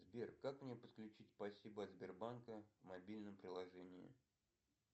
сбер как мне подключить спасибо от сбербанка в мобильном приложении